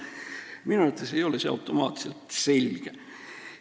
Minu arvates ei ole see automaatselt selge.